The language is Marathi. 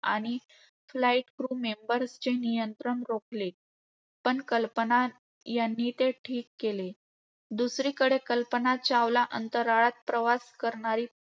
आणि flight crew members चे नियंत्रण रोखले. पण कल्पना चावला यांनी ते ठीक केले. दुसरीकडे कल्पना चावला अंतराळात प्रवास करणारी